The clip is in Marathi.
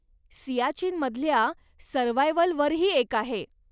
सियाचीनमधल्या सर्व्हायव्हलवरही एक आहे.